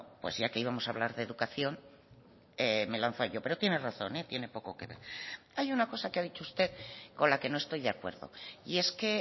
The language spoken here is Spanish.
pues ya que íbamos a hablar de educación me he lanzado yo pero tiene razón tiene poco que ver hay una cosa que ha dicho usted con la que no estoy de acuerdo y es que